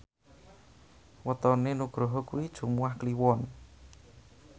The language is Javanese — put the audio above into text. wetone Nugroho kuwi Jumuwah Kliwon